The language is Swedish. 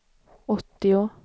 åttio